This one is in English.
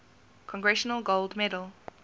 congressional gold medal